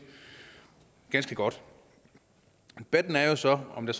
ganske godt debatten er jo så om der